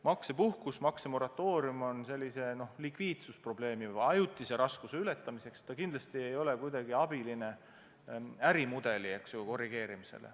Maksepuhkus, maksemoratoorium on likviidsusprobleemi või ajutise raskuse ületamiseks, see kindlasti ei ole abiline ärimudeli korrigeerimisel.